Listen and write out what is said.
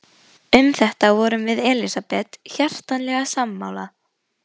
Um þetta vorum við Elsabet hjartanlega sammála.